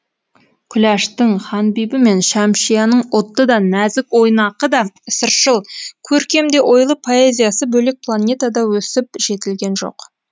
күләштың ханбибі мен шәмшияның отты да нәзік ойнақы да сыршыл көркем де ойлы поэзиясы бөлек планетада өсіп жетілген жоқ